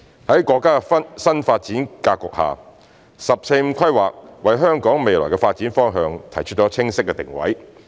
在國家的新發展格局下，"十四五"規劃為香港未來的發展方向提出清晰的定位。